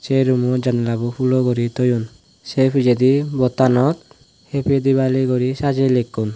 sei roomo janala boo hulo guri toyon sei pijedi board tanot happy dibali guri sajey likkon.